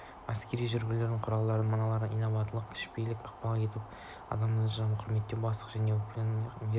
әскерді жігерлендірудің құралдары мыналар инабаттылықпен кішіпейілділікпен ықпал ету адамның адамгершілігін құрметтеу бастықтың жеке өнегесі ақыл-кеңес беру